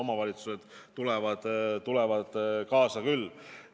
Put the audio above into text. Omavalitsused tulevad kaasa küll.